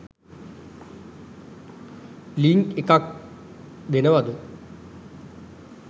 Link එකක් දෙනවද?